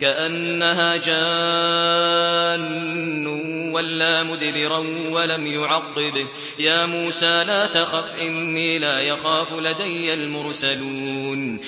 كَأَنَّهَا جَانٌّ وَلَّىٰ مُدْبِرًا وَلَمْ يُعَقِّبْ ۚ يَا مُوسَىٰ لَا تَخَفْ إِنِّي لَا يَخَافُ لَدَيَّ الْمُرْسَلُونَ